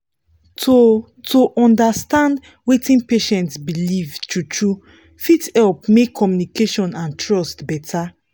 to to understand wetin patient believe true-true fit help make communication and trust better